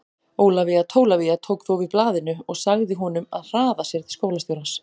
Ólafía Tólafía tók þó við blaðinu og sagði honum að hraða sér til skólastjórans.